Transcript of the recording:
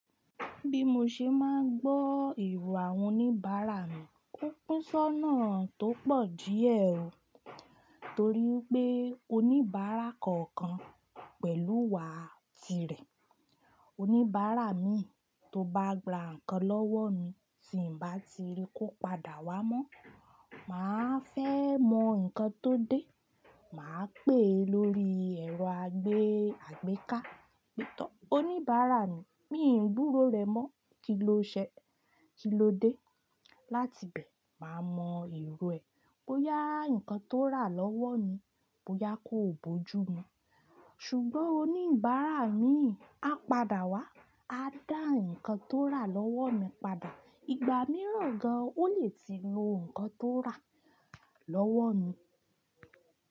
Bí mo ṣe máa ń gbọ́ èrò àwon oníbàárà mi, ó pín sónà tó pọ̀ díẹ̀ o. Torí pé oníbàárà kọ̀ọ̀kan pẹ̀lú wà á tirẹ̀. Oníbàárà mi tó bá ra nǹkan lọ́wọ́ mi tí ǹ bá ti rí ko padà wá mọ́, màá fẹ́ mọ nǹkan tó dé, màá pè é lórí ẹ̀rọ àgbéká, pé "tọ́ oníbàárà mi, mi ò gbúró rẹ mọ́, kí ló ṣe, kí ló dé?" Láti bẹ̀ máa mọ eró ẹ bóyá nǹkan tó rà lọ́wọ́ mi, bóyá ko bo jú mu. Ṣùgbọ́n oníbàárà mi a padà wá, a dá nǹkan tó rà lọ́wọ́ mi padà. Igba mìíràn gan, ó lè ti lo nǹkan tó rà lọ́wọ́ mi.